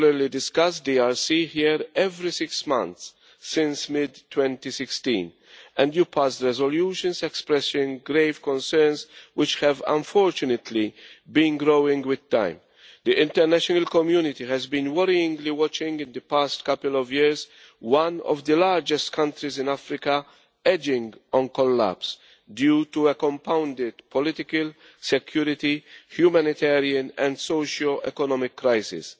have been regularly discussing the DRC here, every six months since mid 2016, and you have passed resolutions expressing grave concerns, which have unfortunately been growing with time. The international community has been worriedly watching, over the past couple of years, one of the largest countries in Africa edging towards collapse due to a compounded political, security, humanitarian and socioeconomic crisis.